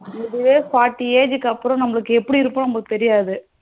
இதுவே forty age க்கு நமக்கு எப்டி இருக்கும்னு நமளுக்கு தெரியாது.